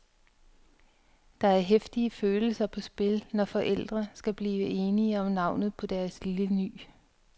Der er heftige følelser på spil, når forældre skal blive enige om navnet på deres lille ny.